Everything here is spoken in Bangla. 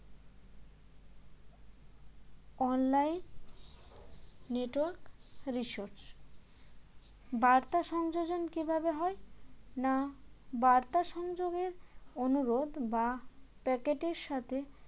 online network resource বার্তা সংযোজন কী ভাবে হয় না বার্তা সংযোগের অনুরোধ বা packet এর সাথে